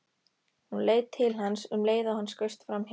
Hún leit til hans um leið og hann skaust framhjá.